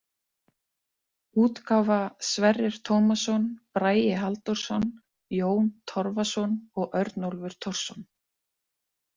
útgáfa Sverrir Tómasson, Bragi Halldórsson, Jón Torfason og Örnólfur Thorsson.